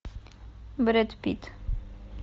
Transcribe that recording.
брэд питт